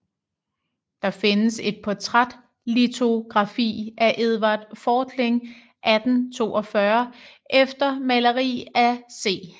Der findes et portrætlitografi af Edvard Fortling 1842 efter maleri af C